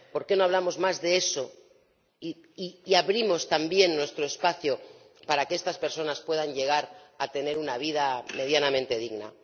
¿Por qué no hablamos más de eso y abrimos también nuestro espacio para que estas personas puedan llegar a tener una vida medianamente digna?